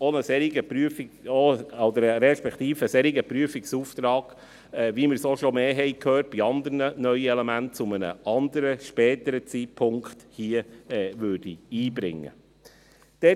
Ein solcher Prüfungsauftrag – wie wir dies auch schon mehrmals bei anderen neuen Elementen gehört haben – soll zu einem anderen, späteren Zeitpunkt hier eingebracht werden.